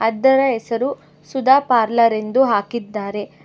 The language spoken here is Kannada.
ಇದರ ಹೆಸರು ಸುಧಾ ಪಾರ್ಲರ್ ಎಂದು ಹಾಕಿದ್ದಾರೆ.